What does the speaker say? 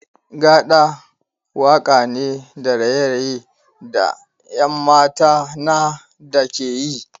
Gaɗa waka ne da raye-raye da 'yan mata na da ke yi.